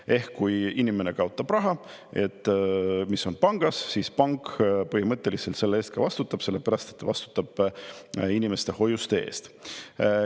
Ehk kui inimene kaotab raha, mis on pangas, siis pank põhimõtteliselt selle eest ka vastutab, sellepärast et ta vastutab inimeste hoiuste eest.